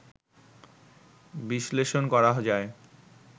বিশ্লেষণ করা যায়